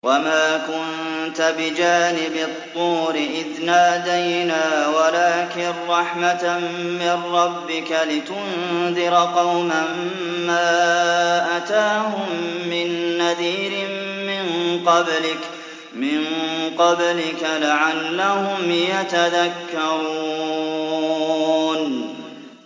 وَمَا كُنتَ بِجَانِبِ الطُّورِ إِذْ نَادَيْنَا وَلَٰكِن رَّحْمَةً مِّن رَّبِّكَ لِتُنذِرَ قَوْمًا مَّا أَتَاهُم مِّن نَّذِيرٍ مِّن قَبْلِكَ لَعَلَّهُمْ يَتَذَكَّرُونَ